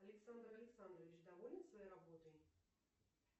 александр александрович доволен своей работой